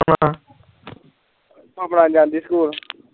ਭਾਪਣਾ ਜਾਂਦੀ ਸਕੂਲ